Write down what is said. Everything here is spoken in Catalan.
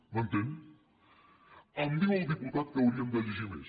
m’entén em diu el diputat que hauríem de llegir més